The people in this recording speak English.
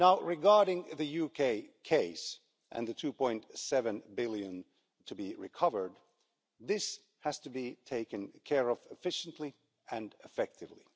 Regarding the UK case and the EUR 2.7 billion to be recovered, this has to be taken care of efficiently and effectively.